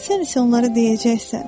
Sən isə onlara deyəcəksən: